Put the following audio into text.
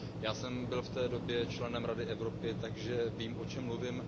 Já jsem byl v té době členem Rady Evropy, takže vím, o čem mluvím.